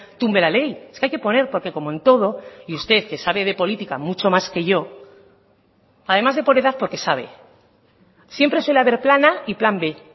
tumbe la ley es que hay que poner porque como en todo y usted que sabe de política mucho más que yo además de por edad porque sabe siempre suele haber plan a y plan b